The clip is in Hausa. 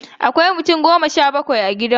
Akwai mutum goma sha bakwai a gidan mu.